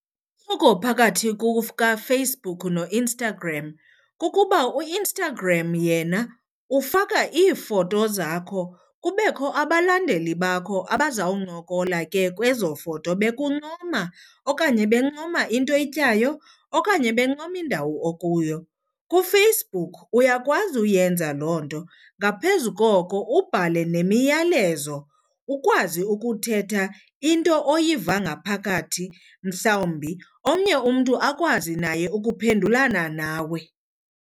phakathi kukaFacebook noInstagram kukuba uInstagram yena ufaka iifoto zakho kubekho abalandeli bakho abazawuncokola ke kwezo foto bekuncoma okanye bencoma into oyityayo okanye bencoma indawo okuyo. KuFacebook uyakwazi uyenza loo nto ngaphezu koko ubhale nemiyalezo, ukwazi ukuthetha into oyiva ngaphakathi mhlawumbi omnye umntu akwazi naye ukuphendulana nawe.